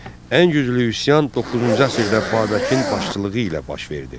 Ən güclü üsyan doqquzuncu əsrdə Babəkin başçılığı ilə baş verdi.